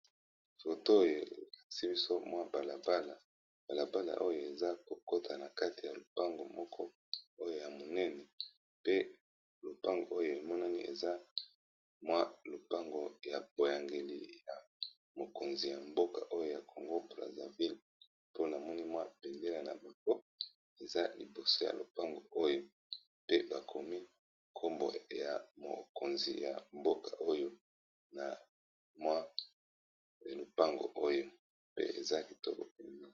Foto oyo elakisi biso mwa balabala balabala oyo eza kokota na kati ya lopango moko oyo ya monene pe lopango oyo emonani eza mwa lopango ya boyangeli ya mokonzi ya mboka oyo ya congo brazzaville mpona moni mwa bendela na bango eza liboso ya lopango oyo pe bakomi nkombo ya mokonzi ya mboka oyo na mwa ya lopango oyo pe eza kitoko